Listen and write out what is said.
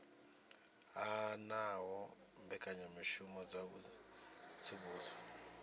hanaho mbekanyamishumo dza u tsivhudza